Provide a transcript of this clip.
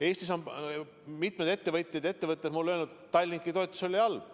Eestis on mitmed ettevõtjad mulle öelnud, et Tallinki toetamine oli halb.